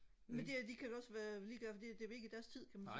men de de kan da også være ligeglade for det bliver ikke i deres tid kan man sige